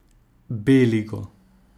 B ligo.